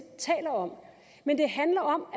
taler om men det handler om